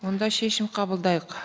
онда шешім қабылдайық